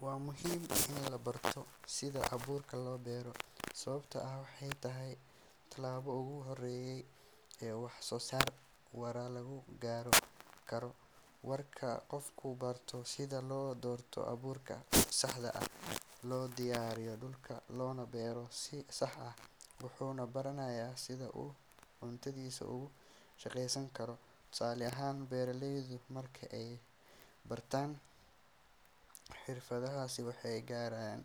Waa muhiim in la barto sida abuurka loo beero sababtoo ah waxay tahay tallaabada ugu horreysa ee wax-soo-saar waara lagu gaari karo. Marka qofku barto sida loo doorto abuurka saxda ah, loo diyaariyo dhulka, loona beero si sax ah, wuxuu baranayaa sida uu cuntadiisa uga shaqaysan karo. Tusaale ahaan, beeraleydu marka ay bartaan xirfaddaasi waxay yareeyaan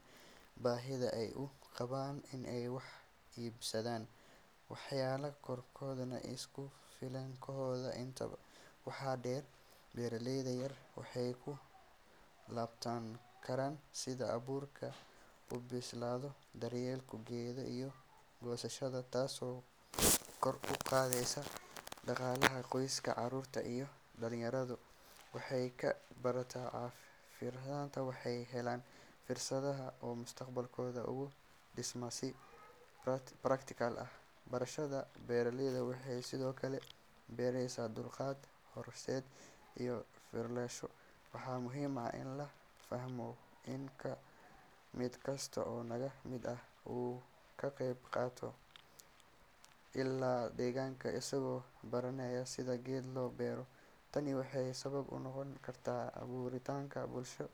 baahida ay u qabaan in ay wax iibsadaan, waxayna kordhiyaan isku filnaanshahooda. Intaa waxaa dheer, beeraleyda yaryar waxay ku tababaran karaan sida abuurka u bislaado, daryeelka geedka, iyo goosashada, taasoo kor u qaadaysa dhaqaalaha qoyska. Caruurta iyo dhalinyaradu marka ay bartaan xirfaddan waxay helayaan fursad ay mustaqbalkooda ugu dhistaan si practical ah. Barashada beerta waxay sidoo kale baraysaa dulqaad, qorsheyn, iyo u fiirsasho. Waxaa muhiim ah in la fahmo in mid kasta oo naga mid ah uu ka qeyb qaadan karo ilaalinta deegaanka isagoo baranaya sida geed loo beero. Tani waxay sabab u noqon kartaa abuuritaanka bulsho.